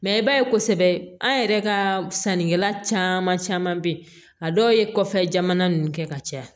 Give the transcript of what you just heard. Mɛ i b'a ye kosɛbɛ an yɛrɛ ka sannikɛla caman caman bɛ yen a dɔw ye kɔfɛ jamana ninnu kɛ ka caya